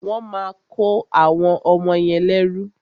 Wọ́n máa kọ́ àwọn ọmọ yẹn lẹ́rú.